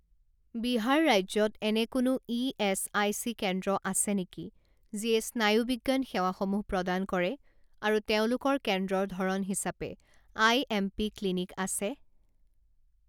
বিহাৰ ৰাজ্যত এনে কোনো ইএচআইচি কেন্দ্ৰ আছে নেকি যিয়ে স্নায়ুবিজ্ঞান সেৱাসমূহ প্ৰদান কৰে আৰু তেওঁলোকৰ কেন্দ্ৰৰ ধৰণ হিচাপে আইএমপি ক্লিনিক আছে?